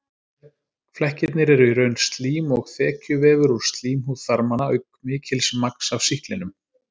Flekkirnir eru í raun slím og þekjuvefur úr slímhúð þarmanna auk mikils magns af sýklinum.